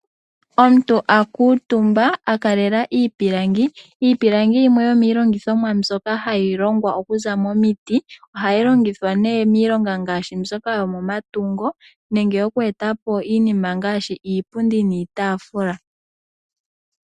Omuntu a kuutumba a kalela iipilangi. Iipilangi yimwe yomiilongithomwa mbyoka hayi longwa okuza momiti. Ohayi longithwa nee miilonga ngaashi mbyoka yo momatungo nenge okweetapo iinima ngaashi iipundi niitaafula.